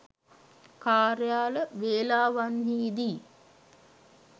කාර්යාල වේලාවන්හිදී